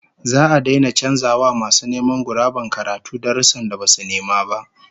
Za'a daina canza wa masu neman guraben karatu darussan da basu nema ba